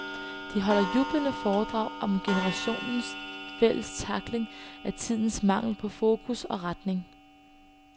De holder jublende foredrag om generationens fælles tackling af tidens mangel på fokus og retning.